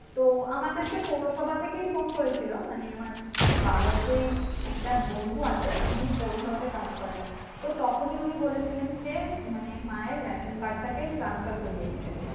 তো আমাদেরকে পৌরসভা থেকে phone করেছিল মানে আমার বাবার যেই একটা বন্ধু আছে উনি পৌরসভাতে কাজ করে তো তখনি উনি বলেছিলেন যে মানে মায়ের ration card তা transfer করেনিতে